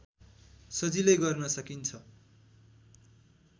सजिलै गर्न सकिन्छ